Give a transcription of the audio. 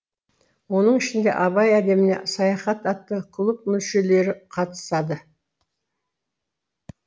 оның ішінде абай әлеміне саяхат атты клуб мүшелері қатысады